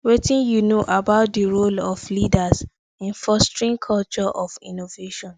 wetin you know about di role of leaders in fostering culture of innovaion